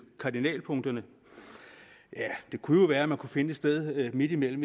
kardinalpunkterne ja det kunne jo være man kunne finde et sted midtimellem